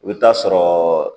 I bɛ t'a sɔrɔ